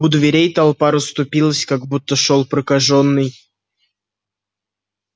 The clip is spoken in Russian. у дверей толпа расступилась как будто шёл прокажённый